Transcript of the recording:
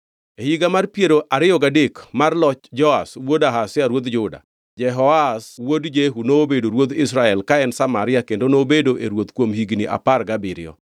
E higa mar piero ariyo gadek mar loch Joash wuod Ahazia ruodh Juda, Jehoahaz wuod Jehu nobedo ruodh Israel ka en Samaria kendo nobedo e ruoth kuom higni apar gabiriyo.